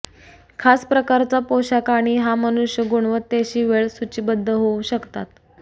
खास प्रकारचा पोशाख आणि हा मनुष्य गुणवत्तेशी वेळ सूचीबद्ध होऊ शकतात